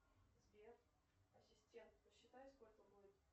сбер ассистент посчитай сколько будет